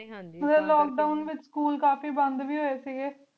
ਲੋਕ ਦੋਵਂ ਵੇਚ ਸਕੂਲ ਕਾਫੀ ਬੰਦ ਵੇ ਹੁਆਯ ਸੇ ਗੀ